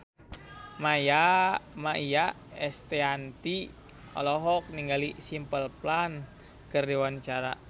Maia Estianty olohok ningali Simple Plan keur diwawancara